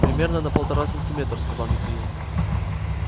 примерно на полтора сантиметра сказал михаил